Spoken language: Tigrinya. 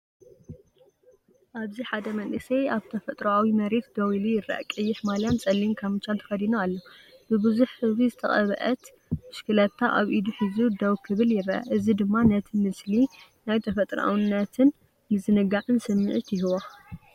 ኣብዚ ሓደ መንእሰይ ኣብ ተፈጥሮኣዊ መሬት ደው ኢሉ ይርአ። ቀይሕ ማልያን ጸሊም ካምቻን ተኸዲኑ ኣሎ። ብብዙሕ ሕብሪ ዝተቐብአት ብሽክለታ ኣብ ኢዱ ሒዙ ደው ክብል ይረአ። እዚ ድማ ነቲ ምስሊ ናይ ተፈጥሮኣውነትን ምዝንጋዕን ስምዒት ይህቦ።